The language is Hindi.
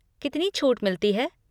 कितनी छूट मिलती है?